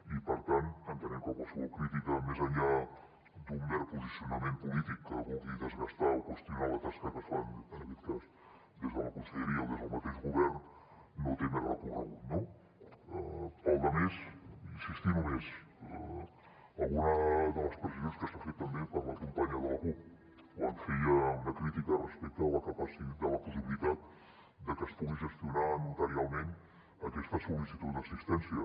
i per tant entenem que qualsevol crítica més enllà d’un mer posicionament polític que vulgui desgastar o qüestionar la tasca que es fa en aquest cas des de la conselleria o des del mateix govern no té més recorregut no per la resta insistir només en alguna de les precisions que s’han fet també per la companya de la cup quan feia una crítica respecte a la possibilitat de que es pugui gestionar notarialment aquesta sol·licitud d’assistència